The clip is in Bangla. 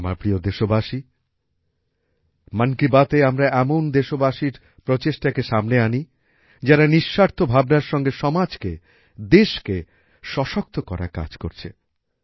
আমার প্রিয় দেশবাসী মন কি বাতএ আমরা এমন দেশবাসীর প্রচেষ্টাকে সামনে আনি যারা নিঃস্বার্থ ভাবনার সঙ্গে সমাজকে দেশকে সশক্ত করার কাজ করছে